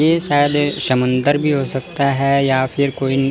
ये शायद समंदर भी हो सकता है या फिर कोई--